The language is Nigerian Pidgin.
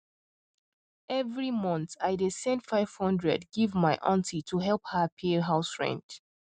every month i dey send 500 give my aunty to help her pay house rent